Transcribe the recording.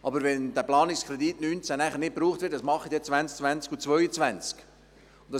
Aber wenn der Planungskredit 2019 nicht gebraucht wird, was tun wir dann in den Jahren 2020 und 2022?